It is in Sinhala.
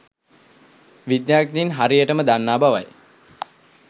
විද්‍යාඥයින් ‘හරියටම’ දන්නා බවයි.